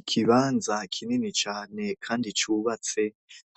Ikibanza kinini cane kandi cubatse.